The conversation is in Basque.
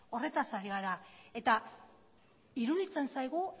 horretaz ari gara eta iruditzen zaigu